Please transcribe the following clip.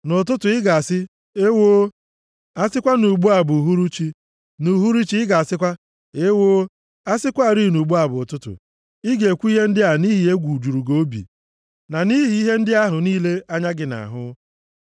Nʼụtụtụ, ị ga-asị, “Ewoo, a sịkwa na ugbu a bụ uhuruchi!” Nʼuhuruchi ị ga-asịkwa, “Ewoo, a sịkwarị na ugbu a bụ ụtụtụ!” Ị ga-ekwu ihe ndị a nʼihi ihe egwu juru gị obi, na nʼihi ihe ndị ahụ niile anya gị na-ahụ.